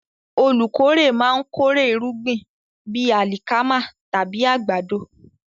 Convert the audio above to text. Olùkórè máa ń kórè irúgbìn bíi alikama tàbí àgbàdo.